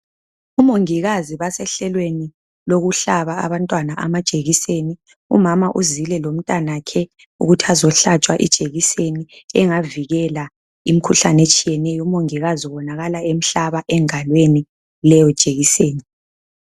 Omongikazi basehlelweni lokuhlaba abantwana amajekiseni umama uzile lomntanakho ukuthi azohlatshwa ijekiseni engavikela imikhuhlane etshiyeneyo umongikazi ubonakala emhlaba engalweni leyo jekiseni